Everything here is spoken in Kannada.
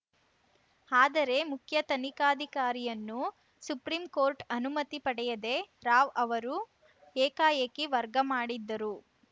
ಆದರೆ ಮುಖ್ಯ ತನಿಖಾಧಿಕಾರಿಯನ್ನು ಸುಪ್ರೀಂ ಕೋರ್ಟ್‌ ಅನುಮತಿ ಪಡೆಯದೇ ರಾವ್‌ ಅವರು ಏಕಾಏಕಿ ವರ್ಗ ಮಾಡಿದ್ದರು